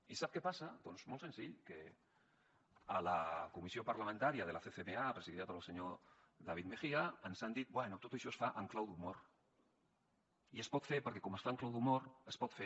i sap què passa doncs molt senzill que a la comissió parlamentària de la ccma presidida pel senyor david mejía ens han dit bé tot això es fa en clau d’humor i es pot fer perquè com es fa en clau d’humor es pot fer